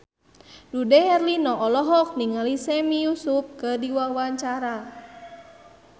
Dude Herlino olohok ningali Sami Yusuf keur diwawancara